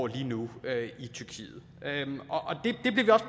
lige nu i tyrkiet